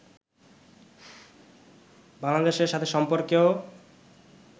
বাংলাদেশের সাথে সম্পর্কেও